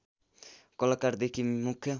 कलाकारदेखि मुख्य